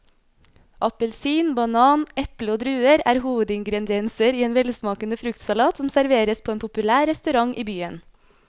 Appelsin, banan, eple og druer er hovedingredienser i en velsmakende fruktsalat som serveres på en populær restaurant i byen.